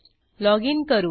loginकरू